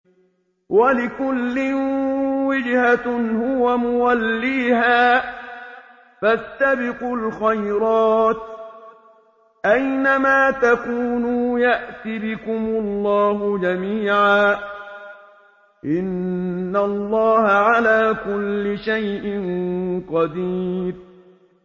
وَلِكُلٍّ وِجْهَةٌ هُوَ مُوَلِّيهَا ۖ فَاسْتَبِقُوا الْخَيْرَاتِ ۚ أَيْنَ مَا تَكُونُوا يَأْتِ بِكُمُ اللَّهُ جَمِيعًا ۚ إِنَّ اللَّهَ عَلَىٰ كُلِّ شَيْءٍ قَدِيرٌ